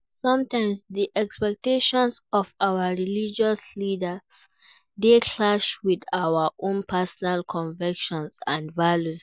Sometimes, di expectations of our religious leaders dey clash with our own personal convictions and values.